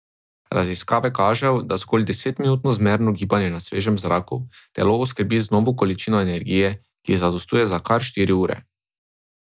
Raziskave kažejo, da zgolj desetminutno zmerno gibanje na svežem zraku telo oskrbi z novo količino energije, ki zadostuje za kar štiri ure.